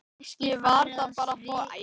Kannski var það bara forvitni.